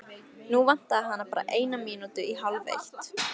Nú vantaði hana bara eina mínútu í hálfeitt.